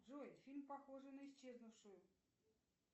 джой фильм похожий на исчезнувшую